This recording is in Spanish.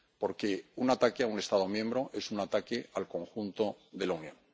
Porque un ataque a un Estado miembro es un ataque al conjunto de la Unión.